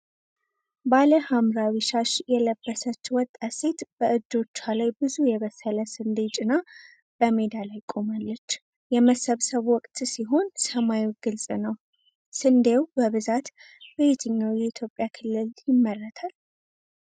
ባለ ሐምራዊ ሻሽ የለበሰች ወጣት ሴት በእጆቿ ላይ ብዙ የበሰለ ስንዴ ጭና በሜዳ ላይ ቆማለች። የመሰብሰብ ወቅት ሲሆን ሰማዩ ግልጽ ነው። ስንዴው በብዛት በየትኛው የኢትዮጵያ ክልል ይመረታል?